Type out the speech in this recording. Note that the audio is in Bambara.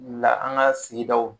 la an ka sigidaw